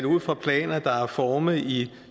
ud fra planer der er formet i